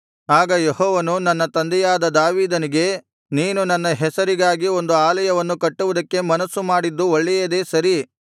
ಆಗ ಯೆಹೋವನು ನನ್ನ ತಂದೆಯಾದ ದಾವೀದನಿಗೆ ನೀನು ನನ್ನ ಹೆಸರಿಗಾಗಿ ಒಂದು ಆಲಯವನ್ನು ಕಟ್ಟುವುದಕ್ಕೆ ಮನಸ್ಸು ಮಾಡಿದ್ದು ಒಳ್ಳೆಯದೇ ಸರಿ